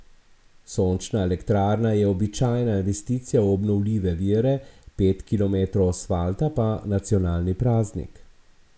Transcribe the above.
Sončna elektrarna je običajna investicija v obnovljive vire, pet kilometrov asfalta pa nacionalni praznik ...